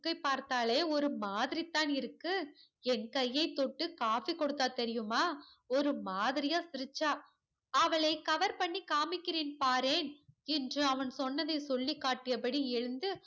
பார்த்தாலே ஒரு மாதிரிதான் இருக்கு என் கையை தொட்டு காபி கொடுத்தால் தெரியுமா ஒரு மாதிரியா சிரிச்சா அவளை cover பண்ணி காமிக்கிறேன் பாரேன் என்று அவன் சொன்னதை சொல்லிகாட்டியபடி எழுந்து